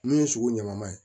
Min ye sugu ɲamaman ye